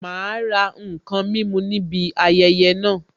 Ma ra n kan mímu ní ibi ayẹyẹ naa